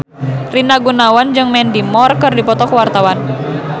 Rina Gunawan jeung Mandy Moore keur dipoto ku wartawan